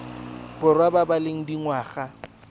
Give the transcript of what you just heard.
borwa ba ba leng dingwaga